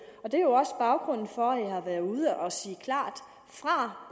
det er også baggrunden for at jeg har været ude og sige klart fra